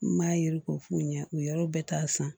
N m'a yiri ko f'u ɲɛ u yɔrɔ bɛɛ ta san